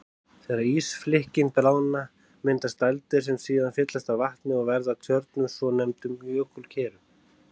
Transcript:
Þegar ísflikkin bráðna myndast dældir sem síðan fyllast vatni og verða að tjörnum, svonefndum jökulkerum.